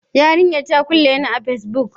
Yarinyar ta kulle ni a Facebook.